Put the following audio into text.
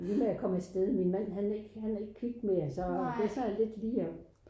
Det lige med at komme afsted min mand han er ikke han er ikke kvik mere så jeg sad lidt lige og